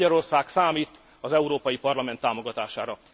Magyarország számít az Európai Parlament támogatására.